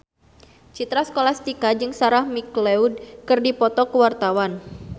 Citra Scholastika jeung Sarah McLeod keur dipoto ku wartawan